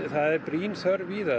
það er brýn þörf víða það